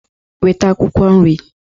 Weta akwukwo nri!